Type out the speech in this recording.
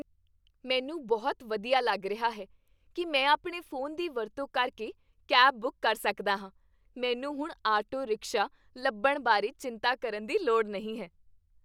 ਮੈਨੂੰ ਬਹੁਤ ਵਧੀਆ ਲੱਗ ਰਿਹਾ ਹੈ ਕੀ ਮੈਂ ਆਪਣੇ ਫ਼ੋਨ ਦੀ ਵਰਤੋਂ ਕਰਕੇ ਕੈਬ ਬੁੱਕ ਕਰ ਸਕਦਾ ਹਾਂ ਮੈਨੂੰ ਹੁਣ ਆਟੋ ਰਿਕਸ਼ਾ ਲੱਭਣ ਬਾਰੇ ਚਿੰਤਾ ਕਰਨ ਦੀ ਲੋੜ ਨਹੀਂ ਹੈ